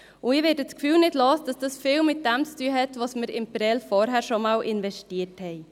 Ich werde das Gefühl nicht los, dass das viel damit zu tun hat, dass wir in Prêles vorher schon investiert haben.